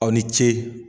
Aw ni ce